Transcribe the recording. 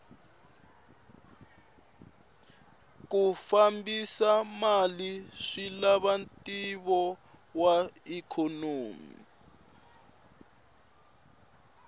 ku fambisa mali swilava ntivo wa ikhonomi